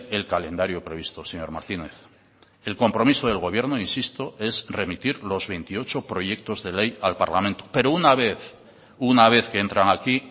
el calendario previsto señor martínez el compromiso del gobierno insisto es remitir los veintiocho proyectos de ley al parlamento pero una vez una vez que entran aquí